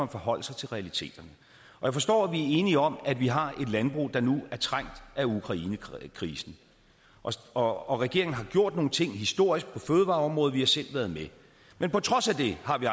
at forholde sig til realiteterne jeg forstår at vi er enige om at vi har et landbrug der nu er trængt af ukrainekrisen og og regeringen har gjort nogle ting historisk på fødevareområdet og vi har selv været med men på trods af det har vi